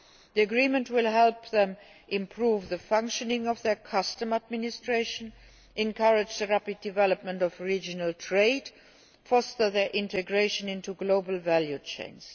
The agreement will help them to improve the functioning of their customs administrations, encourage the rapid development of regional trade and foster their integration into global value chains.